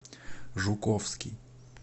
жуковский